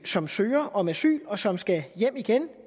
som søger om asyl og som skal hjem igen